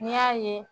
N'i y'a ye